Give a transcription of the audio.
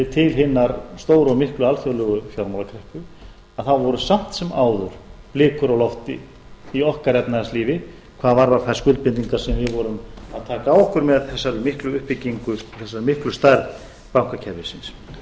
til hinnar stóru og miklu alþjóðlegu fjármálakreppu voru samt sem áður blikur á lofti í okkar efnahagslífi hvað varðar þær skuldbindingar sem við vorum að taka á okkur með þessari miklu uppbyggingu og þessari miklu stærð bankakerfisins